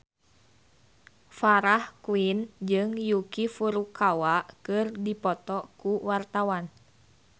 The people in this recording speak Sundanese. Farah Quinn jeung Yuki Furukawa keur dipoto ku wartawan